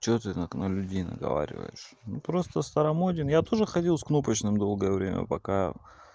что ты так на людей наговариваешь просто старомоден я тоже ходил с кнопочным долгое время пока